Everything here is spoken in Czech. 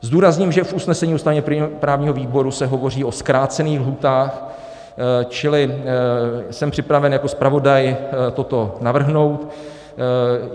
Zdůrazním, že v usnesení ústavně-právního výboru se hovoří o zkrácených lhůtách, čili jsem připraven jako zpravodaj toto navrhnout.